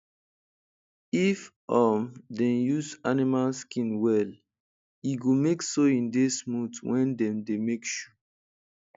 if um dem use animal skin well e go make sewing dey smooth wen dem dey make shoe